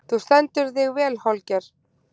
Þú stendur þig vel, Holger!